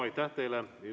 Suur tänu!